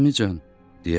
Əmican,